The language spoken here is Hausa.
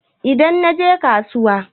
Idan naje kasuwa.